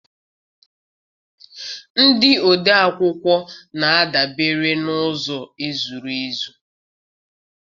Ndị odeakwụkwọ na-adabere n'ụzọ zuru ezu.